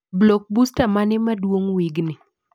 Blockbuster mane maduong wigni?